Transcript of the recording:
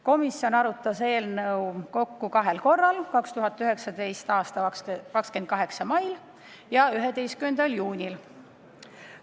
Komisjon arutas eelnõu kahel korral: 2019. aasta 28. mail ja 11. juunil.